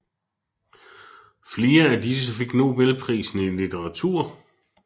Flere af disse fik Nobelprisen i litteratur